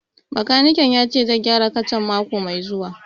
Bakanikin ya ce zai gyara kacan mako mai zuwa